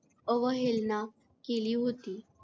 अवहेलना केली होती.